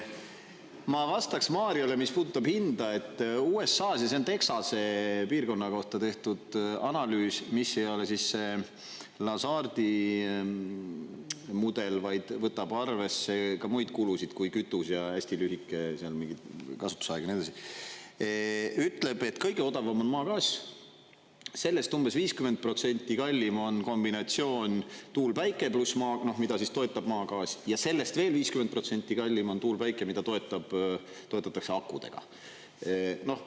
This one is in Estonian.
Ma vastaks Mariole, mis puudutab hinda, et USA-s – ja see on Texase piirkonna kohta tehtud analüüs, mis ei ole … mudel, vaid võtab arvesse ka muid kulusid kui kütus, ja hästi lühike, seal mingit kasutusaega ja nii edasi –… ütleb, et kõige odavam on maagaas, sellest umbes 50% kallim on kombinatsioon tuul, päike pluss maa … noh, mida siis toetab maagaas, ja sellest veel 50% kallim on tuul, päike, mida toetatakse akudega.